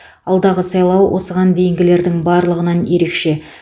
алдағы сайлау осыған дейінгілердің барлығынан ерекше